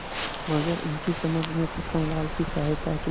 मगर उनकी समझ में छक्कनलाल की सहायता के